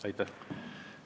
Aitäh!